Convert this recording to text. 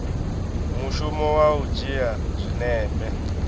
mushumo wa u dzhia zwinepe